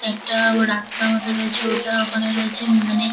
একটা ও রাস্তা মতো রয়েছে ওটা ওখানে রয়েছে মানে--